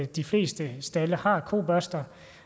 de fleste stalde har kobørster